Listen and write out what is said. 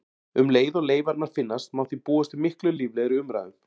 Um leið og leifarnar finnast má því búast við miklu líflegri umræðum.